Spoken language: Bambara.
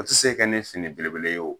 O tɛ se kɛ ni fini belebele ye o.